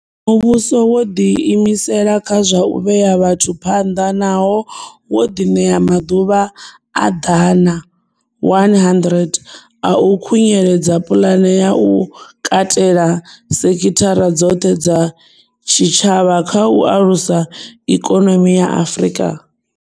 Muvhuso wo ḓi imisela kha zwa u vhea vhathu phanḓa nahone wo ḓiṋea maḓuvha a ḓana 100 a u khunyeledza pulane ya u katela sekithara dzoṱhe dza tshitshavha kha u alusa ikonomi ya Afrika.